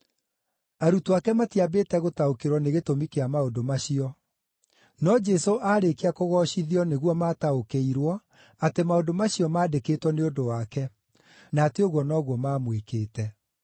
Arutwo ake matiambĩte gũtaũkĩrwo nĩ gĩtũmi kĩa maũndũ macio. No Jesũ aarĩkia kũgoocithio nĩguo maataũkĩirwo atĩ maũndũ macio maandĩkĩtwo nĩ ũndũ wake, na atĩ ũguo noguo maamwĩkĩte.